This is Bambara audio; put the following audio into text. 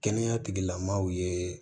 Kɛnɛya tigilamaaw ye